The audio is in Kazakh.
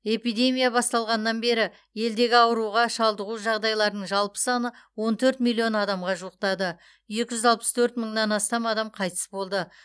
эпидемия басталғаннан бері елдегі ауруға шалдығу жағдайларының жалпы саны он төрт миллион адамға жуықтады екі жүз алпыс төрт мыңнан астам қайтыс болды